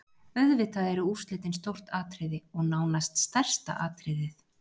Auðvitað eru úrslitin stórt atriði, og nánast stærsta atriðið.